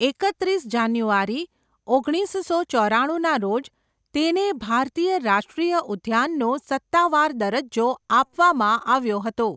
એકત્રીસ જાન્યુઆરી, ઓગણીસસો ચોરાણુંના રોજ તેને ભારતીય રાષ્ટ્રીય ઉદ્યાનનો સત્તાવાર દરજ્જો આપવામાં આવ્યો હતો.